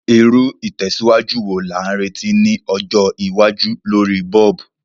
Irú ìtẹ̀síwájú wo la n retí ni ọjọ́ iwájú lorí bulb?